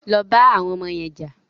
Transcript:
Lọ bá àwọn ọmọ yẹn jà!